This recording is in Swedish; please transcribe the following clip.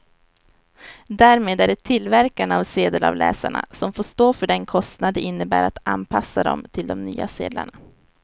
Därmed är det tillverkarna av sedelavläsarna som får stå för den kostnad det innebär att anpassa dem till de nya sedlarna.